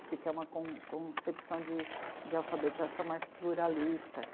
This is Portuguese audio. Esse que é uma com concepção de alfabetização mais pluralista.